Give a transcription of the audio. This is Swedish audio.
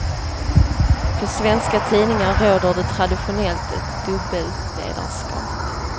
På svenska tidningar råder det traditionellt ett dubbelt ledarskap.